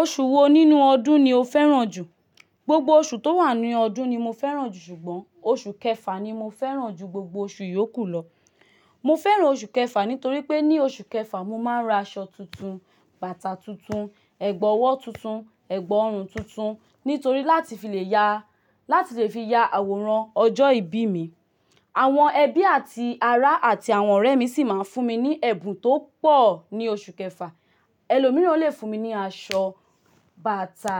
Oṣù wo nínú ọdún ni o fẹ́ràn jù? Gbogbo oṣù tó wà ní ọdún ni mo fẹ́ràn ṣùgbọ́n oṣù kẹfà ni mo fẹ́ràn jù gbogbo oṣù iyókù lọ. Mo fẹ́ràn oṣù kẹfà nítorí pé ní oṣù kẹfà mo máa ń ra aṣọ tuntun, bàtà tuntun, ẹ̀gbọ́ ọwọ́ tuntun, ẹ̀gbọ́ ọrùn tuntun. Nítorí láti fi le ya, láti le fi ya àwòrán ọjọ́ ìbí mi. Àwọn ẹbí àti ará àti àwọn ọ̀rẹ́ mi sì máa ń fún mi ní ẹ̀bùn tó pọ̀ ní oṣù kẹfà. Ẹlòmíràn lè fún mi ní aṣọ, bàtà,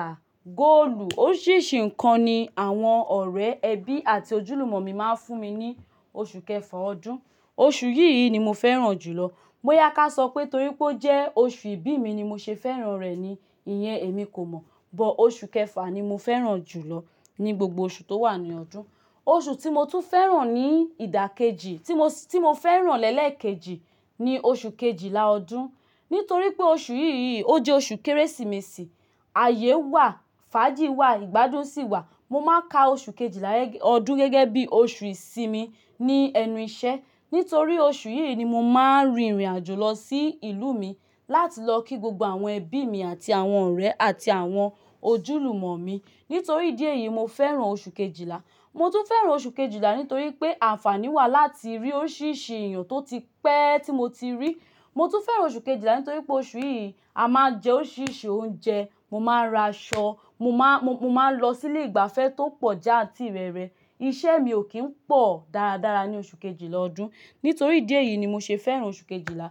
góòlù, oríṣìíríṣìí nǹkan ni àwọn ọ̀rẹ́, ẹbí àti ojúlùmọ̀ mi máa ń fún mi ní oṣù kẹfà ọdún. Oṣù yìí ni mo fẹ́ràn jù lọ. Bó yá ká sọ pé torí pé ó jẹ́ oṣù ìbí mi ni mo ṣe fẹ́ràn rẹ̀ ni ìyẹn èmi kò mọ̀. Bọ́ oṣù kẹfà ni mo fẹ́ràn jù lọ ní gbogbo oṣù tó wà ní ọdún. O Oṣù tí mo tún fẹ́ràn ní ìdákẹ́jì, tí mo, tí mo fẹ́ràn lẹ́lẹ̀ kejì ni oṣù kejìlá ọdún. Nítorí pé oṣù yìí, ó jẹ́ oṣù Kérésìmesì. Ayé wà, fàájì wà, ìgbádùn sì wà. Mo máa ń ka oṣù kejìlá ọdún gẹ́gẹ́ bí oṣù ìsinmi ní ẹnu ìṣẹ́. Nítorí oṣù yìí ni mo máa ń rin ìrìn àjò lọ sí ìlú mi láti lọ kí gbogbo àwọn ẹbí mi àti àwọn ọ̀rẹ́ àti àwọn ojúlùmọ̀ mi. Nítorí díẹ̀ yìí mo fẹ́ràn oṣù kejìlá. Mo tún fẹ́ràn oṣù kejìlá nítorí pé àǹfàní wà láti rí oríṣìíríṣìí èèyàn tó ti pẹ́ tí mo ti rí. Mo tún fẹ́ràn oṣù kejìlá nítorí pé oṣù yìí a máa jẹ oríṣìíríṣìí oúnjẹ, mo máa ra aṣọ, mo máa, mo, mo máa ń lọ sí ilé ìgbafẹ́ tó pọ̀ já àti rere. Iṣẹ́ mi ò kí ń pọ̀ dáradára ní oṣù kejìlá ọdún. Nítorí díẹ̀ yìí ni mo ṣe fẹ́ràn oṣù kejìlá.